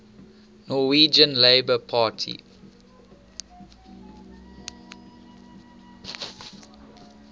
norwegian labour party